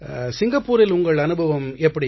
சிங்கப்பூரில் உங்கள் அனுபவம் எப்படி